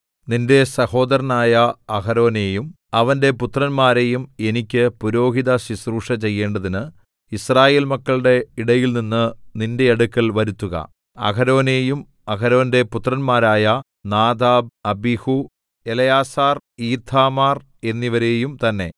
നിന്റെ സഹോദരനായ അഹരോനെയും അവന്റെ പുത്രന്മാരെയും എനിക്ക് പുരോഹിതശുശ്രൂഷ ചെയ്യേണ്ടതിന് യിസ്രായേൽ മക്കളുടെ ഇടയിൽനിന്ന് നിന്റെ അടുക്കൽ വരുത്തുക അഹരോനെയും അഹരോന്റെ പുത്രന്മാരായ നാദാബ് അബീഹൂ എലെയാസാർ ഈഥാമാർ എന്നിവരെയും തന്നെ